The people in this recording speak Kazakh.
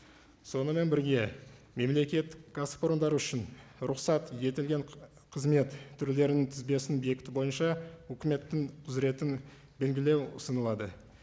сонымен бірге мемлекеттік кәсіпорындар үшін рұқсат етілген қызмет түрлерінің тізбесін бекіту бойынша үкіметтің құзыретін белгілеу ұсынылады